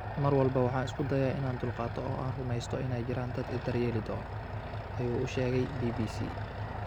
"Mar walba waxaan isku dayaa inaan dulqaato oo aan rumaysto inay jiraan dad i daryeeli doona," ayuu u sheegay BBC.